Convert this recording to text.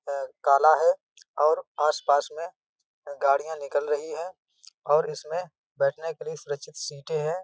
Bag काला है और आस-पास में गाड़ियां निकल रही हैं और इसमें बैठने के लिए सुरक्षित सीटें हैं।